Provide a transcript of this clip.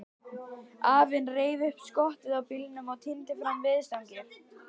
Afinn reif upp skottið á bílnum og tíndi fram veiðistangir.